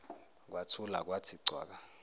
kwathula kwathi cwaka